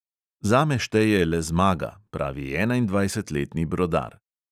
"Zame šteje le zmaga," pravi enaindvajsetletni brodar.